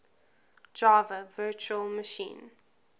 java virtual machine